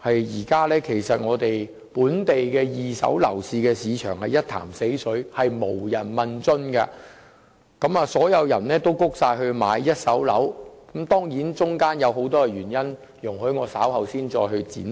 現時本地二手樓市一潭死水，無人問津，所有人也轉至購買一手樓；當中固然有很多原因，容我稍後再作闡述。